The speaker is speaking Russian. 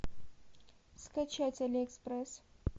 скачать алиэкспресс